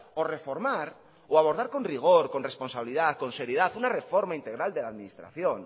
o reformar o abordar con rigor con responsabilidad con seriedad una reforma integral de la administración